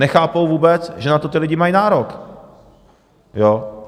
Nechápou vůbec, že na to ti lidi mají nárok.